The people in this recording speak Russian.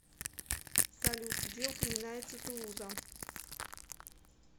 салют где упоминается тулуза